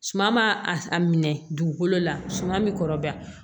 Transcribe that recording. Suman b'a a minɛ dugukolo la suman bi kɔrɔba